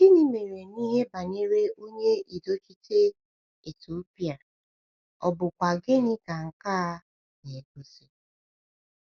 Gịnị mere n’ihe banyere onye udochite Etiopịa, ọ̀ bụkwa gịnị ka nke a na-egosi?